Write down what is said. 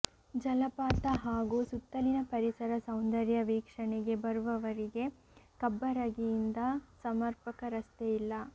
ಜಲಪಾತ ಹಾಗೂ ಸುತ್ತಲಿನ ಪರಿಸರ ಸೌಂದರ್ಯ ವೀಕ್ಷಣೆಗೆ ಬರುವವರಿಗೆ ಕಬ್ಬರಗಿಯಿಂದ ಸಮರ್ಪಕ ರಸ್ತೆ ಇಲ್ಲ